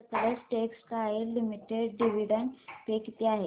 Sutlej textiles limited dividend pay किती आहे